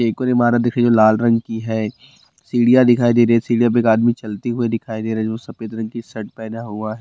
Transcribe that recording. एक और इमारत दिखाई दे रही है जो लाल रंग की है सीढ़ियाँ दिखाई दे रहे है सीढ़ियाँ पर एक आदमी चलते हुइ दिखाई दे रही है जो सफ़ेद रंग कि शर्ट पेहना हुआ --